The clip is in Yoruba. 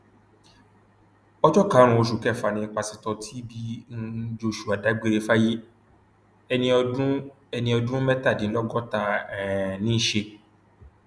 ọjọ karùnún oṣù kẹfà ni pásítọ tbi um joshua dágbére fáyé ẹni ọdún ẹni ọdún mẹtàdínlọgọta um ní í ṣe